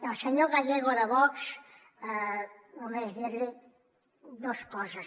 al senyor gallego de vox només dir li dos coses